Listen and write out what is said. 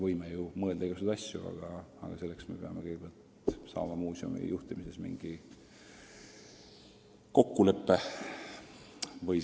Võime ju praegu mõelda igasuguseid asju, aga muuseumi juhtimise kohta kokkulepet pole.